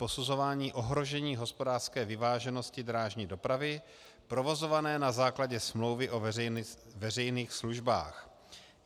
Posuzování ohrožení hospodářské vyváženosti drážní dopravy provozované na základě smlouvy o veřejných službách.